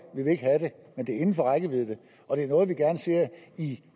men det er inden for rækkevidde og det er noget vi gerne ser i